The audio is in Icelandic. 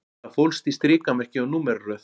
Það fólst í strikamerki og númeraröð